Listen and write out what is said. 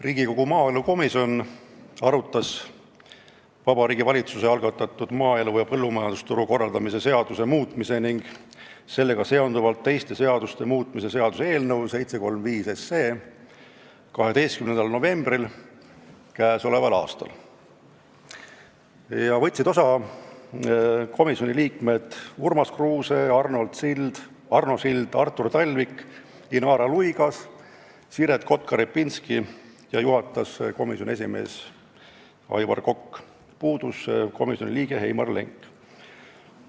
Riigikogu maaelukomisjon arutas Vabariigi Valitsuse algatatud maaelu ja põllumajandusturu korraldamise seaduse muutmise ning sellega seonduvalt teiste seaduste muutmise seaduse eelnõu 12. novembril k.a. Osa võtsid komisjoni liikmed Urmas Kruuse, Arno Sild, Artur Talvik, Inara Luigas, Siret Kotka-Repinski ja puudus Heimar Lenk, juhatas komisjoni esimees Aivar Kokk.